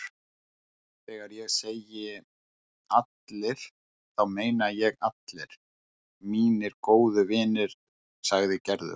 Þegar ég segi allir þá meina ég allir mínir gömlu vinir sagði Gerður.